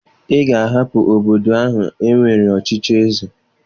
Ị ga-ahapụ obodo ahụ e nwere ọchịchị eze!